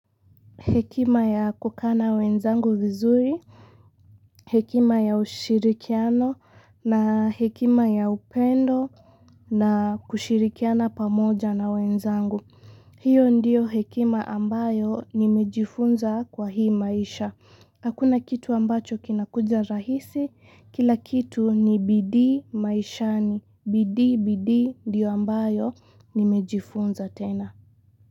Hekima ya kukana wenzangu vizuri, hekima ya ushirikiano na hekima ya upendo na kushirikiana pamoja na wenzangu. Hiyo ndiyo hekima ambayo nimejifunza kwa hii maisha. Hakuna kitu ambacho kinakuja rahisi, kila kitu ni bidiimaishani. Bidii bidii ndio ambayo nimejifunza tena.